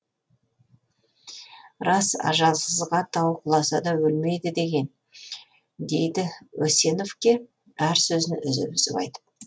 рас ажалсызға тау құласа да өлмейді деген дейді осеновке әр сөзін үзіп үзіп айтып